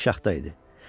Bərk şaxta idi.